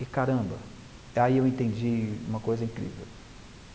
E, caramba, aí eu entendi uma coisa incrível.